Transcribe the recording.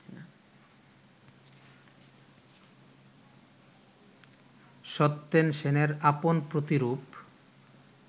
সত্যেন সেনের আপন প্রতিরূপ